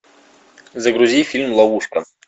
загрузи фильм ловушка